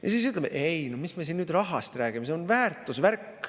Ja siis ütleksin: "Ei no mis me siin nüüd rahast räägime, see on väärtuse värk.